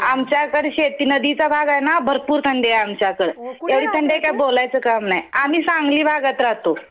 आमच्याकडं शेती नदीचा भाग आहे ना भरपूर थंडी आहे आमच्याकडं. एवढी थंडी आहे काय बोलायचं काम नाही. आम्ही सांगली भागात राहतो.